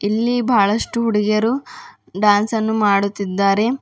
ಇಲ್ಲಿ ಬಹಳಷ್ಟು ಹುಡುಗಿಯರು ಡಾನ್ಸ್ ಅನ್ನು ಮಾಡುತ್ತಿದ್ದಾರೆ.